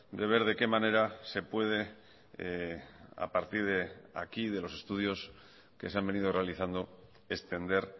de ver de qué manera se puede a partir de aquí de los estudios que se han venido realizando extender